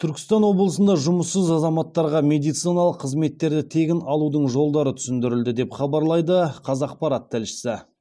түркістан облысында жұмыссыз азаматтарға медициналық қызметтерді тегін алудың жолдары түсіндірілді деп хабарлайды қазақпарат тілшісі